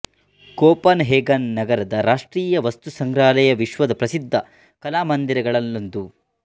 coupon ಹೇಗನ್ ನಗರದ ರಾಷ್ಟ್ರೀಯ ವಸ್ತುಸಂಗ್ರಹಾಲಯ ವಿಶ್ವದ ಪ್ರಸಿದ್ಧ ಕಲಾಮಂದಿರಗಳಲ್ಲೊಂದು